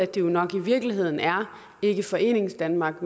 det nok i virkeligheden er ikke foreningsdanmark